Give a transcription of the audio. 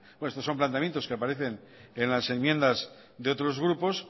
estos son planteamientos que aparecen en las enmiendas de otros grupos